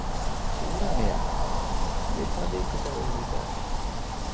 Úranía, hvaða vikudagur er í dag?